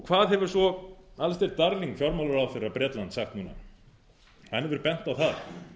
hvað hefur svo alistair darling fjármálaráðherra bretlands sagt núna hann hefur bent á það